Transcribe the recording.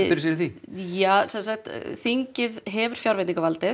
fyrir sér í því þingið hefur fjárveitingarvald en